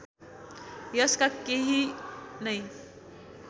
यसका केही नै